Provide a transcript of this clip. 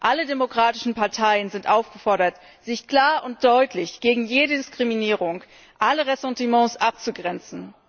Alle demokratischen Parteien sind aufgefordert, sich klar und deutlich gegen jede Diskriminierung und alle Ressentiments abzugrenzen.